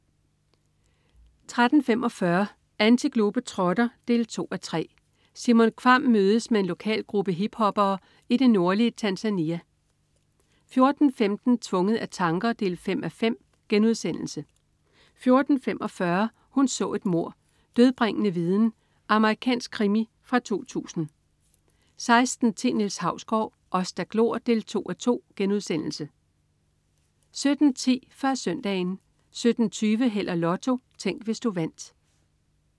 13.45 Antiglobetrotter 2:3. Simon Kvamm mødes med en lokal gruppe hiphoppere i det nordlige Tanzania 14.15 Tvunget af tanker 5:5* 14.45 Hun så et mord: Dødbringende viden. Amerikansk krimi fra 2000 16.10 Niels Hausgaard: Os der glor 2:2* 17.10 Før Søndagen 17.20 Held og Lotto. Tænk, hvis du vandt